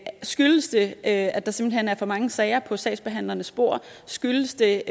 skyldes det at at der simpelt hen er for mange sager på sagsbehandlernes bord skyldes det